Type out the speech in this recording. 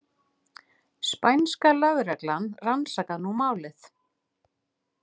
Spænska lögreglan rannsakar nú málið